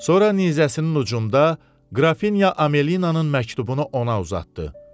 Sonra nizəsinin ucunda qrafinya Amelinanın məktubunu ona uzatdı.